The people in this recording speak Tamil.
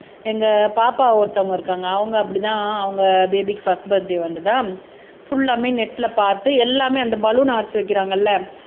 எங்க பாப்பா ஒருத்தவங்க இருக்காங்க அவங்க அப்படிதான் அவங்க பேபிக்கு பர்ஸ்ட் பர்த்டே வந்துதா புல்லாமே நெட்ல பார்த்து எல்லாமே அந்த பலூன் அர்ச் வைக்கிறாங்கல்ல